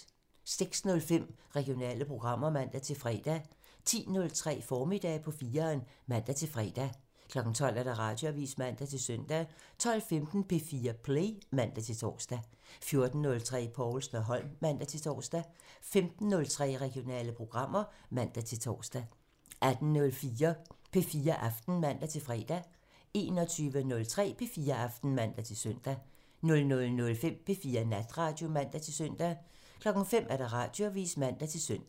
06:05: Regionale programmer (man-fre) 10:03: Formiddag på 4'eren (man-fre) 12:00: Radioavisen (man-søn) 12:15: P4 Play (man-tor) 14:03: Povlsen & Holm (man-tor) 15:03: Regionale programmer (man-tor) 18:05: P4 Aften (man-fre) 21:03: P4 Aften (man-søn) 00:05: P4 Natradio (man-søn) 05:00: Radioavisen (man-søn)